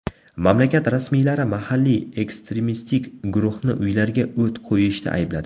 Mamlakat rasmiylari mahalliy ekstremistik guruhni uylarga o‘t qo‘yishda aybladi.